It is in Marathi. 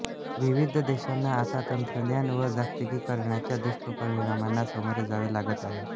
विविध देशांना आता तंत्रज्ञान व जागतिकीकरणाच्या दुष्परिणामांना सामोरे जावे लागत आहे